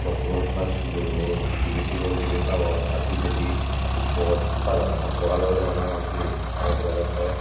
boxo gun halas gureni debe sigon debe dangor r pichendi bor ekko gach agey hatlo gach obody parapang sebe aro dega jattey.